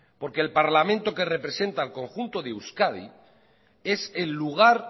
porque el parlamento que representa al conjunto de euskadi es el lugar